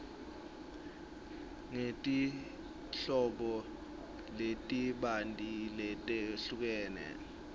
ngetinhlobo letibanti letehlukene